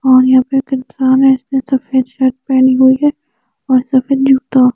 और यहा पे जिसमे सफेद शर्ट पेनी हुई है और सफेद जूता--